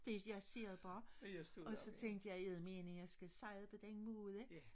Jeg siger det bare og så tænkte jeg eddermame jeg skal sige det på den måde